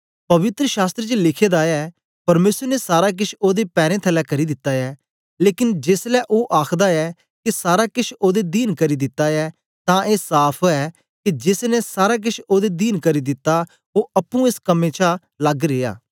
पवित्र शास्त्र च लिखे दा ऐ परमेसर ने सारा केछ ओदे पैरें थलै करी दिता ऐ लेकन जेसलै ओ आखदा ऐ के सारा केछ ओदे दीन करी दित्ता ऐ तां ए साफ़ ऐ के जेस ने सारा केछ ओदे दीन करी दित्ता ओ अप्पुं एस कम्में छा लग्ग रिया